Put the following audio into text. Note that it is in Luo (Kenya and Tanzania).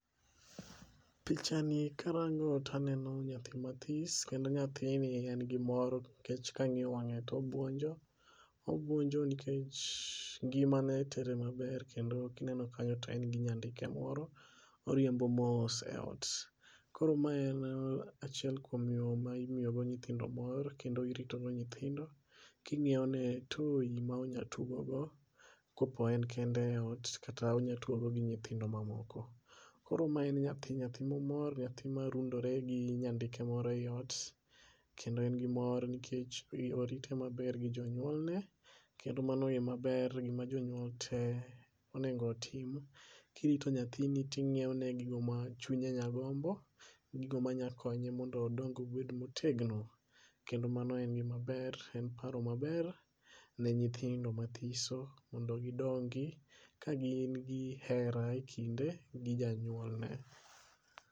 Pichani karango taneno nyathi mathis kendo nyathini en gi mor nikech kang'iyo wange to obwonjo. Obwonjo nikech ngimane tere maber kendo kineno kanyo to en gi nyandike moro oriembo mos ei ot. Koro m en achiel kuom yore mimiyogo nyithindo mor , kendo iritogo nyithindo king'iewone toy monyatugogo kopo en kende e ot kata onya tugogo gi nyithindo mamoko. Koro ma en nyathi, nyathi momor, nyathi marundore gi nyandike moro e ot kendo en gi mor nikech orite maber gi jonyuolne , kendo mano e maber gima jonyuol te onego otim kirito nyathini ting'iewone gigo ma chunye nya gombo, gigo ma nya konye mondo odong obed motegno. Kendo mano en gima ber , en paro maber ne nyithindo mathiso mondo gidongi ka gin gi hera e kinde gi janyuolne.